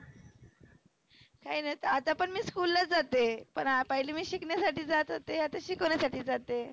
काही नाही आता पण मी school ला जाते. पहिले मी शिकण्यासाठी जात होते आता शिकवण्यासाठी जाते.